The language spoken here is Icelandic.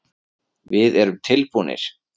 Við erum tilbúnir.